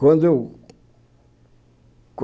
Quando eu